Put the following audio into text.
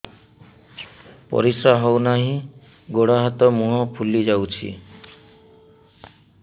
ପରିସ୍ରା ହଉ ନାହିଁ ଗୋଡ଼ ହାତ ମୁହଁ ଫୁଲି ଯାଉଛି